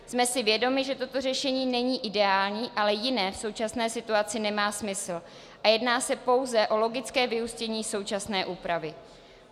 Jsme si vědomi, že toto řešení není ideální, ale jiné v současné situaci nemá smysl a jedná se pouze o logické vyústění současné úpravy.